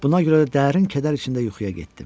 Buna görə də dərin kədər içində yuxuya getdim.